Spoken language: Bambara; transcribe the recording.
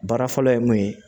Baara fɔlɔ ye mun ye